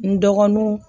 N dɔgɔnunw